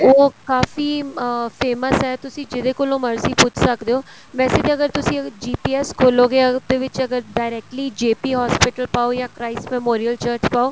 ਉਹ ਕਾਫੀ famous ਏ ਤੁਸੀਂ ਜਿਹਦੇ ਕੋਲੋਂ ਮਰਜ਼ੀ ਪੁੱਛ ਸਕਦੇ ਓ ਵੈਸੇ ਤੇ ਜਦੋਂ ਤੁਸੀਂ GPS ਖੋਲੋਗੇ ਅਗਰ ਉਹਦੇ ਵਿੱਚ ਅਗਰ directly JP hospital ਪਾਓ ਜਾਂ Christ memorial church ਪਾਓ